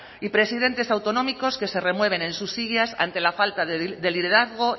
y presidentes autonómicos que se renueven en sus sillas ante la falta de liderazgo